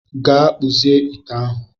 Gaa kpụzie ite ahụ